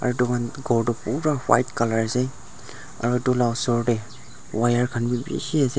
aro edu khan ghor toh pura white colour ase aro edu la osor tae wire khan bi bishi ase.